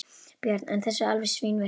Björn: En þessi alveg svínvirkar?